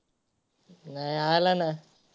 नाही आला ना.